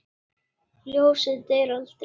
Ljósið deyr aldrei.